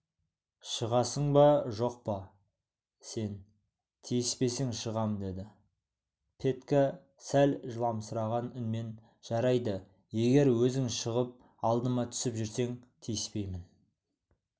шығасың ба жоқ па сен тиіспесең шығам деді петька сәл жыламсыраған үнмен жарайды егер өзің шығып алдыма түсіп жүрсең тиіспеймін